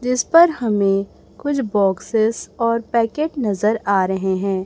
जिस पर हमें कुछ बॉक्सेस और पैकेट नजर आ रहे हैं।